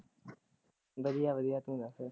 ਵਧੀਆ ਵਧੀਆ ਤੂੰ ਦਸ।